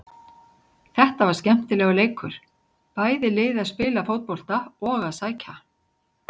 Þetta var skemmtilegur leikur, bæði lið að spila fótbolta og að sækja.